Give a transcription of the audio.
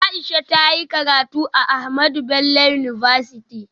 Aisha ta yi karatu a Ahmadu Bello University Zaria